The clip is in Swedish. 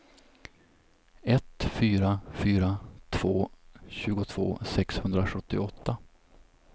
ett fyra fyra två tjugotvå sexhundrasjuttioåtta